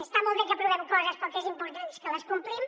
està molt bé que aprovem coses però el que és important és que les complim